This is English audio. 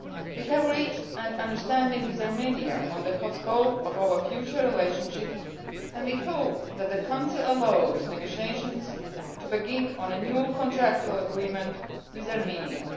We have reached an understanding with Armenia on the scope of our future relationship and we hope that the Council allows negotiations to begin on a new contractual agreement with Armenia.